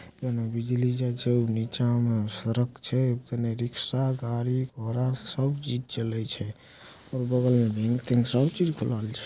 एमे बिजली जे छे नीचा में सड़क छे तने रिक्शा गाड़ी घोड़ा सब चीज़ चले छे और बगल में सब चीज़ खुलल छे।